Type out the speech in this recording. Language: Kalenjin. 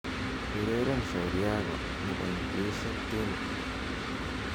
ureren shauri yako nebo nkuishi ntimbo